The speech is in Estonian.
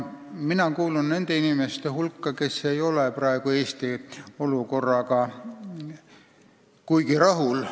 Mina kuulun nende inimeste hulka, kes ei ole Eesti praeguse olukorraga kuigi rahul.